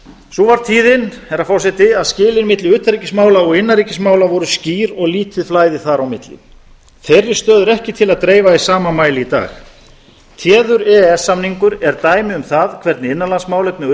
sú var tíðin herra forseti að skilin milli utanríkismála og innanríkismála voru skýr og lítið flæði þar á milli þeirri stöðu er ekki til að dreifa í sama mæli í dag téður e e s samningur er dæmi um það hvernig innanlandsmálefni og